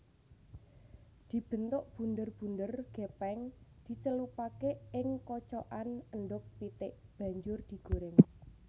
Dibentuk bunder bunder gepeng dicelupake ing kocokan endhog pitik banjur digoreng